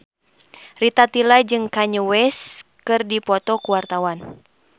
Rita Tila jeung Kanye West keur dipoto ku wartawan